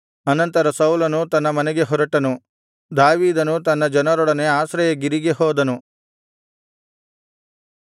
ಅನಂತರ ಸೌಲನು ತನ್ನ ಮನೆಗೆ ಹೊರಟನು ದಾವೀದನು ತನ್ನ ಜನರೊಡನೆ ಆಶ್ರಯಗಿರಿಗೆ ಹೋದನು